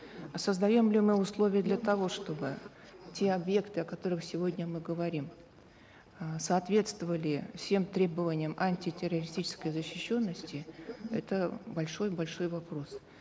а создаем ли мы условия для того чтобы те объекты о которых сегодня мы говорим эээ соответствовали всем требованиям антитеррористической защищенности это большой большой вопрос